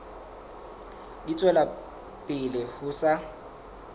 di tswela pele ho sa